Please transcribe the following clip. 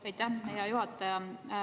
Aitäh, hea juhataja!